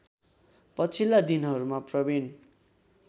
पछिल्ला दिनहरूमा प्रविन